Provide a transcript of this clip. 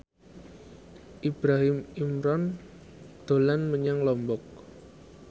Ibrahim Imran dolan menyang Lombok